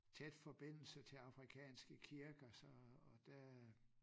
Tæt forbindelse til Afrikanske kirker så og da